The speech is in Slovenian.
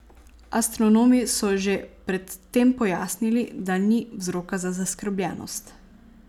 Astronomi so že pred tem pojasnili, da ni vzroka za zaskrbljenost.